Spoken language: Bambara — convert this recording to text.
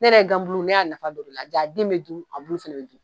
Ne ye gan bulu ne y'a nafa dɔn o de la, ja den me dun, a bulu fɛnɛ bi dun.